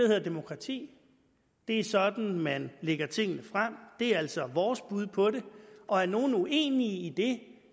hedder demokrati det er sådan man lægger tingene frem det er altså vores bud på det og er nogle uenige i det